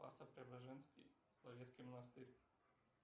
спасо преображенский соловецкий монастырь